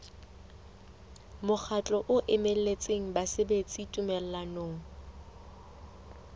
mokgatlo o emetseng basebeletsi tumellanong